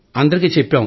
అందరికీ చెప్పాం